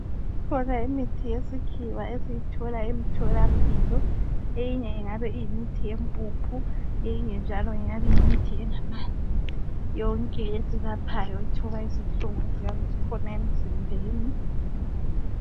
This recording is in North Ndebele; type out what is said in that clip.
Ikhona imithi yesikhiwa esiyithola emtholampilo eyinye ingabe iyimithi yempuphu eyinye njalo ngeyabe iyimithi engamanzi yonke esibapha ethoba izinhlungu eziyabe zikhona emzimbeni